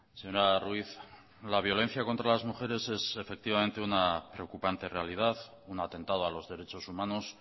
señora ruiz la violencia contra las mujeres es efectivamente una preocupante realidad un atentado a los derechos humanos